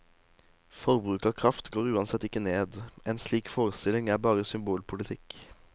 Forbruket av kraft går uansett ikke ned, en slik forestilling er bare symbolpolitikk.